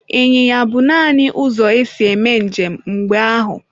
Ịnyịnya bụ nanị ụzọ e si eme njem mgbe ahụ.